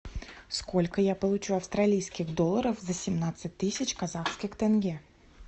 сколько я получу австралийских долларов за семнадцать тысяч казахских тенге